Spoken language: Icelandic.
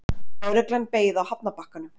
Lögreglan beið á hafnarbakkanum.